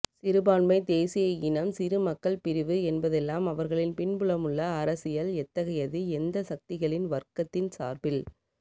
சிறுபான்மைத் தேசிய இனம் சிறு மக்கள் பிரிவு என்பதெல்லாம் அவர்களின் பின்புலமுள்ள அரசியல் எத்தகையது எந்த சக்திகளின் வர்க்கத்தின் சார்பில்